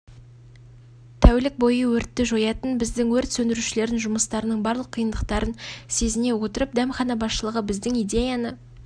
тәулік бойы өртті жоятын біздің өрт сөндірушілердің жұмыстарының барлық қиындықтарын сезіне отырып дәмхана басшылығы біздің идеяны